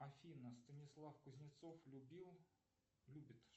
афина станислав кузнецов любил любит